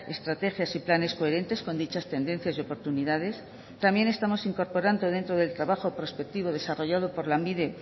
estrategias y planes coherentes con dichas tendencias y oportunidades también estamos incorporando dentro del trabajo prospectivo desarrollado por lanbide